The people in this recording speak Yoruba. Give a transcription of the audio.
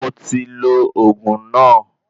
Mo ti lo oògùn náà